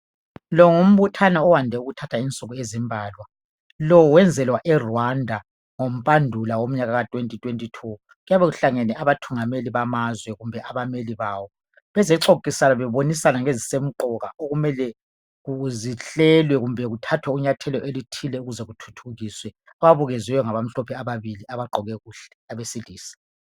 lo ngumbuthano owande ukuthatha insuku ezimbalwalo wenzelwa e Rwanda ngo Mbandula ngomnyaka ka 2022 kuyaqbe kuhlangene abathungameli bamazwe kumbe abameli bawo bezecophisana bebonisana ngezisemqoka okumele zihlelwe kumbe kuthathwe inyathela elithile ukuze kuthuthukiswe ababukwezwe ngaba mhlophe ababili abagqoke kuhle abesilisa